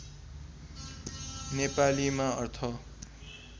नेपालीमा अर्थ